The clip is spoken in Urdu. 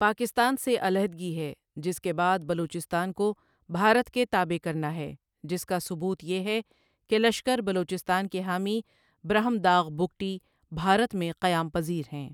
پاکستان سے علیحدگی هےجس کےبعد بلوچستان کو بھارت کےتابع کرناهےجس کا ثبوت یه ہے که لشکربلوچستان کےحامی براهمداغبگٹی بھارت میں قیام پزیرهیں.